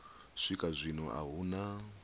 swika zwino a hu na